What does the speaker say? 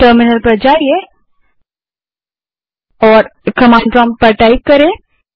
terminal पर जाएँ और कमांड टाइप करें